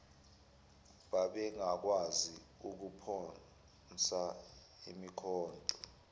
babengakwazi ukuphonsa imikhonto